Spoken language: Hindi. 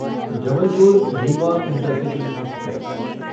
Jabalpur Rewa intercity express